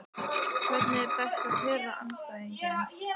Hvernig er best að pirra andstæðinginn?